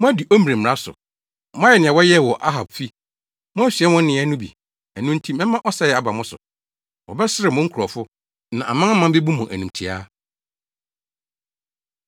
Moadi Omri mmara so. Moayɛ nea wɔyɛɛ wɔ Ahab fi. Moasua wɔn nneyɛe no bi, ɛno nti mɛma ɔsɛe aba mo so. Wɔbɛserew mo nkurɔfo; na amanaman bebu mo animtiaa.”